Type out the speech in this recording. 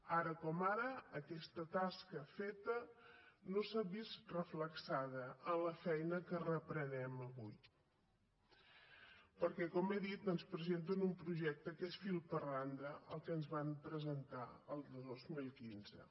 ara com ara aquesta tasca feta no s’ha vist reflectida en la feina que reprenem avui perquè com he dit ens presenten un projecte que és fil per randa el que ens van presentar el dos mil quinze